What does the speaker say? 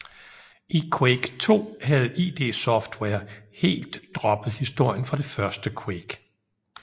I Quake II havde id Software helt droppet historien fra det første Quake